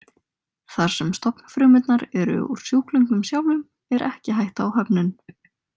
Þar sem stofnfrumurnar eru úr sjúklingnum sjálfum er ekki hætta á höfnun.